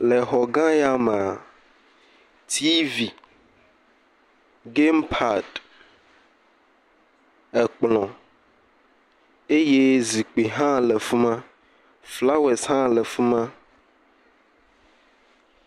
Le xɔ gã ya mee. Tivi, gɛmpadi, ekplɔ eye zikpui hã le fi ma, flawesi hã le fi ma.